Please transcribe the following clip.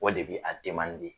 O de be a